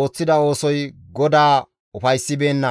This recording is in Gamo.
ooththida oosoy GODAA ufayssibeenna.